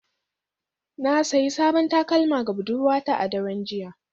Na sayi sabon takalma ga budurwata a daren jiya